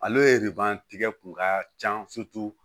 Ale de b'a tigɛ kun ka can